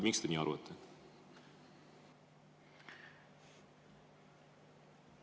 Miks te nii arvate?